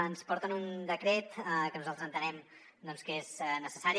ens porten un decret que nosaltres entenem que és necessari